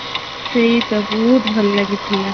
ସେଇତ ବହୁତ ଭଲ ଲାଗିଥିଲା